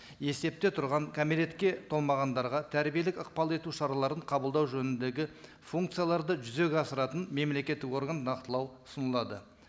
есепте тұрған кәмелетке толмағандарға тәрбиелік ықпал ету шараларын қабылдау жөніндегі функцияларды жүзеге асыратын мемлекеттік орган нақтылау ұсынылады